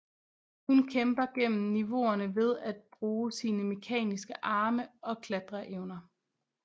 Hun kæmper gennem niveauerne ved at bruge sine mekaniske arme og klatreevner